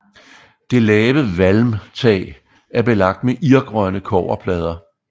Det lave valmtag er belagt med irgrønne kobberplader